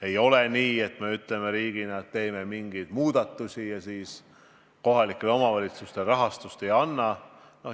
Ei ole nii, et me ütleme riigina, et teeme mingeid muudatusi, aga kohalikele omavalitsustele raha ei anna.